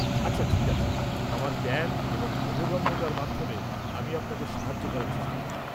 -আচ্ছা, ঠিক আছে। আমার জ্ঞান এবং বোধগম্যতার মাধ্যমে আমি আপনাকে সাহায্য করার চেষ্টা করব।